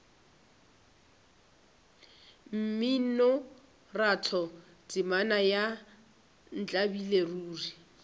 mminoratho temana ya ntlabile ruri